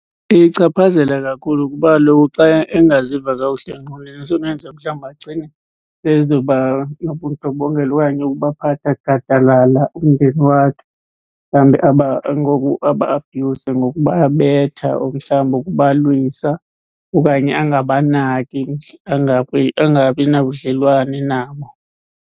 Iyichaphazela kakhulu, kuba kaloku xa engaziva kakuhle engqondweni isenokwenzeka mhlawumbi agcine ezoba nobundlobongela okanye ukubaphatha gadalala umndeni wakhe. Mhlawumbi ngokuba-abhuyuza, ngokubabetha mhlawumbi, ukubalwisa okanye angabanaki, angabi, angabi nabudlelwane nabo.